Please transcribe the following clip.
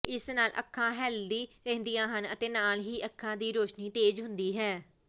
ਇਸ ਨਾਲ ਅੱਖਾਂ ਹੈਲਦੀ ਰਹਿੰਦੀਆਂ ਹਨ ਅਤੇ ਨਾਲ ਹੀ ਅੱਖਾਂ ਦੀ ਰੋਸ਼ਨੀ ਤੇਜ਼ ਹੁੰਦੀ ਹੈ